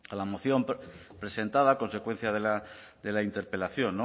la moción presentada consecuencia de la interpelación